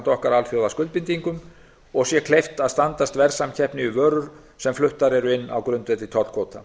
alþjóðaskuldbindingum okkar og sé kleift að standast verðsamkeppni við vörur sem fluttar eru inn á grundvelli tollkvóta